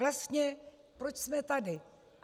Vlastně, proč jsme tady?